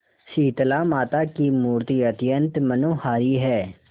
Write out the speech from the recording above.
शीतलामाता की मूर्ति अत्यंत मनोहारी है